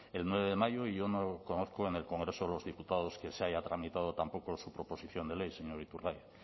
el nueve de mayo yo no conozco en el congreso de los diputados que se haya tramitado tampoco su proposición de ley señor iturgaiz